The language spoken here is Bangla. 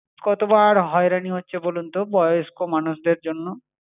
কতবার হয়রানি হচ্ছে বলুন তো, বয়স্ক মানুষদের জন্য?